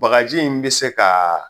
Bakaji in bi se kaa